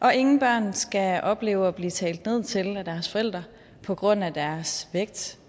og ingen børn skal opleve at blive talt ned til af deres forældre på grund af deres vægt